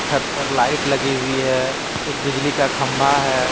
छत पर लाइट लगी हुई है एक बिजली का खंबा है।